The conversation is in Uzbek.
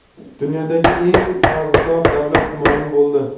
Dunyodagi eng qarzdor davlat ma’lum bo‘ldi.